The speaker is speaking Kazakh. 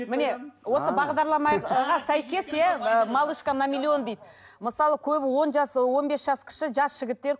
міне осы бағдарламаға сәйкес иә ы малышка на миллион дейді мысалы көбі он жас он бес жас кіші жас жігіттер